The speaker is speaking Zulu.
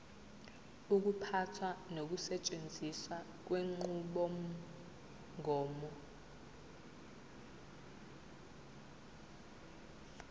ukuphatha nokusetshenziswa kwenqubomgomo